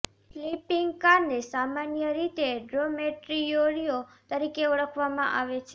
sleeping કારને સામાન્ય રીતે ડોમેટ્રીયોરિયો તરીકે ઓળખવામાં આવે છે